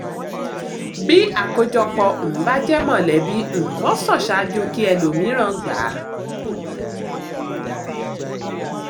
bí àkójọpọ̀ um bá jẹ́ mọ̀lẹ́bí um wọ́n sa[n ṣáájú kí ẹlòmíràn gbà á